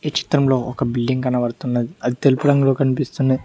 చిత్రంలో ఒక బిల్లింగ్ కనపడుతున్నది అది తెలుపు రంగు కనిపిస్తున్నద్--